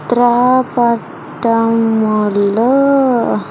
త్రా పట్టమ్ములు.